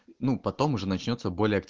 ну потом уже начнётся более акти